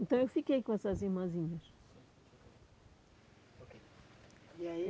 Então, eu fiquei com essas irmãzinhas. E aí